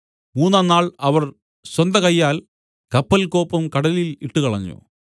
മൂന്നാം നാൾ അവർ സ്വന്തകയ്യാൽ കപ്പൽകോപ്പും കടലിൽ ഇട്ടുകളഞ്ഞു